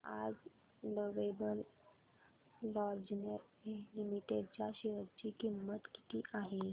आज Lovable Lingerie Limited च्या share ची किंमत किती आहे